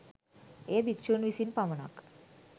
එය භික්ෂූන් විසින් පමණක්